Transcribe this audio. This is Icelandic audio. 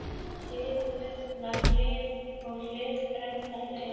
Hið gullna hlið og hið brennandi hlið.